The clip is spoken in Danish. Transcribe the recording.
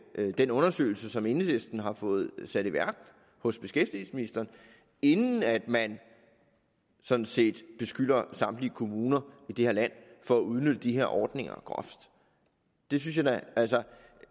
den undersøgelse som enhedslisten har fået sat i værk hos beskæftigelsesministeren inden at man sådan set beskylder samtlige kommuner i det her land for at udnytte de ordninger groft det synes jeg da altså